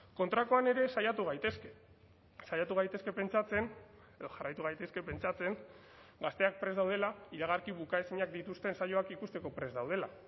kontrakoan ere saiatu gaitezke saiatu gaitezke pentsatzen edo jarraitu gaitezke pentsatzen gazteak prest daudela iragarki bukaezinak dituzten saioak ikusteko prest daudela